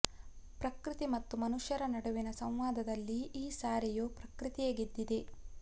ಪ್ರಕೃತಿ ಮತ್ತು ಮನುಷ್ಯರ ನಡುವಿನ ಸಂವಾದದಲ್ಲಿ ಈ ಸಾರೆಯೂ ಪ್ರಕೃತಿಯೇ ಗೆದ್ದಿದೆ